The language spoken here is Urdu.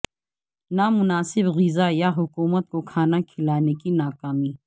نا مناسب غذا یا حکومت کو کھانا کھلانے کی ناکامی